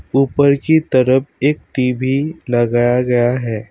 ऊपर की तरफ एक टी_वी लगाया गया है।